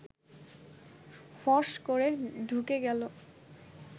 ফস করে ঢুকে গেল